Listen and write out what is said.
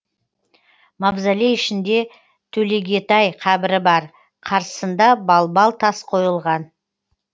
мавзолей ішінде төлегетай қабірі бар қарсысында балбал тас қойылған